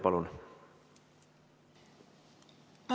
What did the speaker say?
Palun!